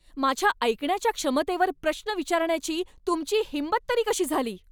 माझ्या ऐकण्याच्या क्षमतेवर प्रश्न करण्याची तुमची हिंमत तरी कशी झाली?